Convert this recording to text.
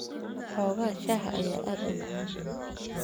Xoogga shaaha ayaa aad u macaan.